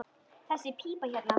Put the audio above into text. Þessi pípa hérna.